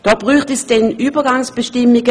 Dafür bräuchte es dann Übergangsbestimmungen.